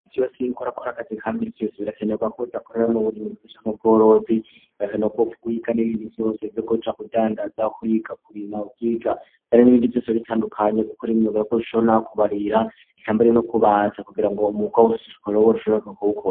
Si wa siynuko rakora akazi ka mityeso birakenerwako dakorera mu burima gufeshamkobworozi birakenewa kowpfa ugwiga n'ibindi vyose vyo kubuca kudangaza kuigakubima ukwiga bari n'ibindi vyoso bitandukanye gukora imiyogo yako shona kubarira ikamberio no kubaza kugira ngo umuga wo ushishukua robor ushoborka, kuko.